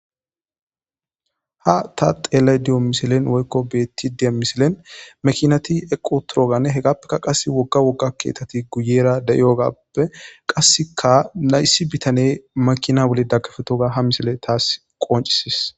Ha ta xeelay diyo misilen woykko beetti dee misilen makinati eqotoroganne hegappekka qasse wogga wogga keetati guyera da'iyogappe qasseka nayssi bitane makina wole daggafetoga ha misile taas qoncisis.